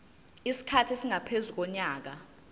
isikhathi esingaphezu konyaka